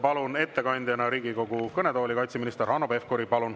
Palun ettekandeks Riigikogu kõnetooli kaitseminister Hanno Pevkuri.